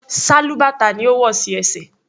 Sálúbàtà ni ó wò sí ẹsẹ̀.